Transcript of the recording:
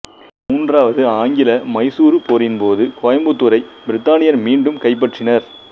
மூன்றாவது ஆங்கில மைசூரு போரின்போது கோயம்புத்தூரை பிரித்தானியர் மீண்டும் கைப்பற்றினர்